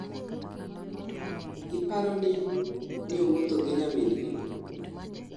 iparoni niowuotho gi nyamingi